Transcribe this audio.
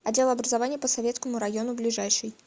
отдел образования по советскому району ближайший